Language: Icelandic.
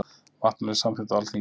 Vatnalög samþykkt á Alþingi.